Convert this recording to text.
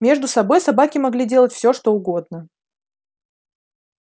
между собой собаки могли делать всё что угодно